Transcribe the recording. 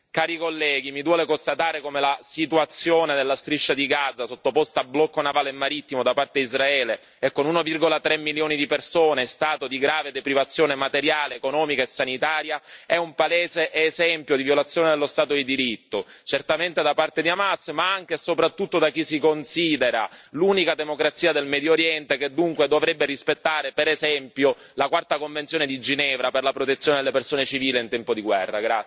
Onorevoli colleghi, mi duole constatare come la situazione della striscia di Gaza, sottoposta a blocco navale e marittimo da parte Israele e con 1,3 milioni di persone in stato di grave privazione materiale, economica e sanitaria, è un palese esempio di violazione dello Stato di diritto, certamente da parte di Hamas ma anche e soprattutto da chi si considera l'unica democrazia del Medio Oriente e che dunque dovrebbe rispettare, per esempio, la quarta convenzione di Ginevra per la protezione dei civili in tempo di guerra.